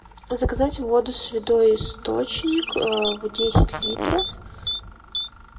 заказать воду святой источник десять литров